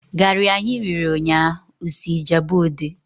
Garị anyị riri nnya osị Ijabode?